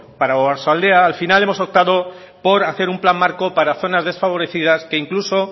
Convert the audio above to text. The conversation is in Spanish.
para oarsoaldea al final hemos optado por hacer un plan marco para zonas desfavorecidas que incluso